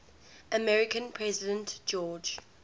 american president george